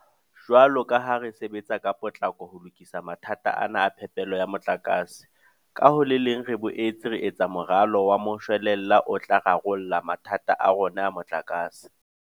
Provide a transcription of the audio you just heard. Jwalo ka ha re sebetsa ka potlako ho lokisa mathata ana a phepelo ya motlakase, ka ho le leng re boetse re etsa moralo wa moshwelella o tla rarolla mathata a rona a motlakase.